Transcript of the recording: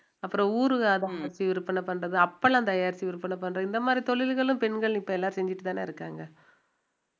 அப்பறம் ஊறுகாய் அத ஒரு விற்பனை பண்றது அப்பளம் தயாரிச்சு விற்பனை பண்றது இந்த மாதிரி தொழில்களும் பெண்கள் இப்ப எல்லாம் செஞ்சுட்டுதானே இருக்காங்க